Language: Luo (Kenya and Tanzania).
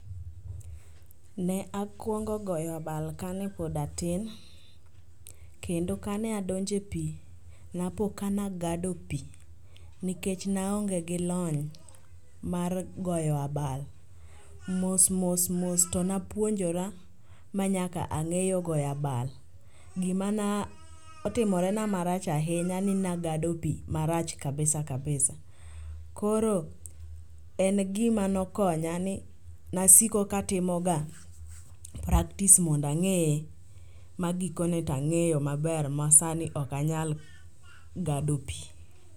Ne akwongo goyo abal kane pod atin, kendo kane adonjo e pi napoka nagado pi nikech naonge gi lony mar goyo abal. Mos mos mos to napuonjora ma nyaka ang'eyo goyo abal. Gima na otimorena marach ahinya ni nagado pi marach kabisa kabisa, koro en gima nokonya ni nasiko katimoga praktis mondo ang'e magikone tang'eyo maber ma sani to okanyal gado pi.